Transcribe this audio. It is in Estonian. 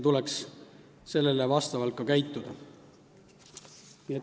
Selle kohaselt tuleks ka käituda.